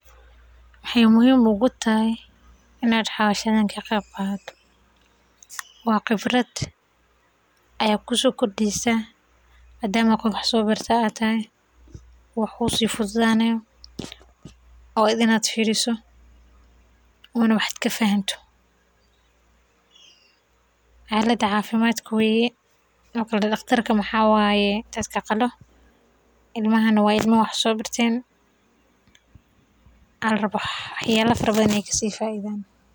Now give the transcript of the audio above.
Maxay muhiim utahay inaad howshan ka qeyb qaato waa khibrad ayeey kusoo kordisa waa inaad fiiriso ooma wax aad lafanato daqtarka dadka qalo waye.